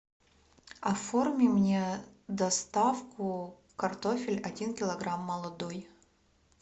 оформи мне доставку картофель один килограмм молодой